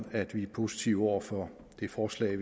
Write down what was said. at vi er positive over for det forslag